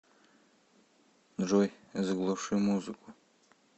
джой заглуши музыку